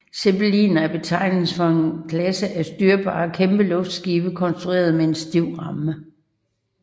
Zeppeliner er betegnelsen for en klasse af styrbare kæmpeluftskibe konstrueret med en stiv ramme